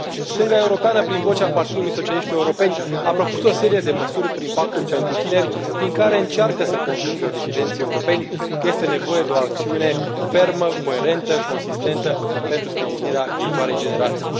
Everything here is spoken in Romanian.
Stânga europeană, prin vocea Partidului socialiștilor europeni, a propus o serie de măsuri prin Pactul pentru tineri, prin care încearcă să convingă decidenții europeni că este nevoie de o acțiune fermă, coerentă, consistentă pentru sprijinirea viitoarei generații.